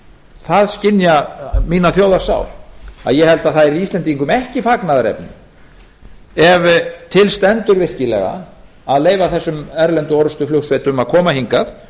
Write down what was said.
það skynja mína þjóðarsál að ég held að það yrði íslendingum ekki fagnaðarefni ef til stendur virkilega að leyfa þessum erlendu orrustuflugsveitum að koma hingað